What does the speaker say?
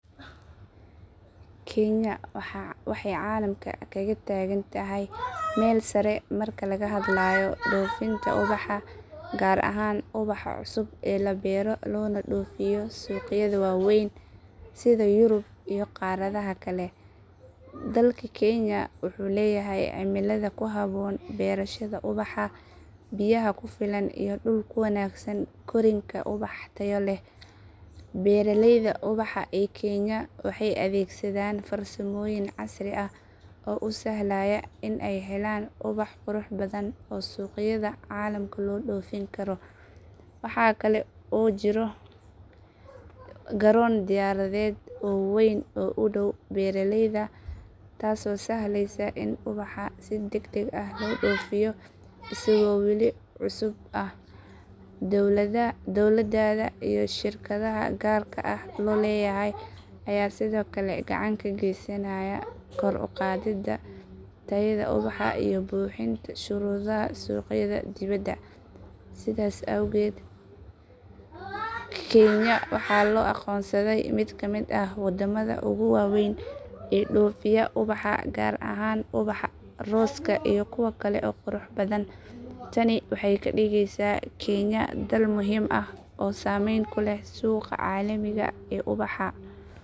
Kenya waxay caalamka kaga taagan tahay meel sare marka laga hadlayo dhoofinta ubaxa gaar ahaan ubaxa cusub ee la beero loona dhoofiyo suuqyada waaweyn sida yurub iyo qaaradaha kale. Dalka kenya wuxuu leeyahay cimilada ku habboon beerashada ubaxa, biyaha ku filan iyo dhul ku wanaagsan korriinka ubaxa tayo leh. Beeraleyda ubaxa ee kenya waxay adeegsadaan farsamooyin casri ah oo u sahlaya in ay helaan ubax qurux badan oo suuqyada caalamka loo dhoofin karo. Waxa kale oo jirta garoon diyaaradeed oo weyn oo u dhow beeraleyda taasoo sahlaysa in ubaxa si degdeg ah loo dhoofiyo isagoo weli cusub ah. Dowladda iyo shirkadaha gaarka loo leeyahay ayaa sidoo kale gacan ka geysanaya kor u qaadidda tayada ubaxa iyo buuxinta shuruudaha suuqyada dibadda. Sidaas awgeed kenya waxaa loo aqoonsaday mid ka mid ah waddamada ugu waaweyn ee dhoofiya ubaxa gaar ahaan ubaxa rooska iyo kuwa kale ee quruxda badan. Tani waxay ka dhigaysaa kenya dal muhiim ah oo saameyn ku leh suuqa caalamiga ah ee ubaxa.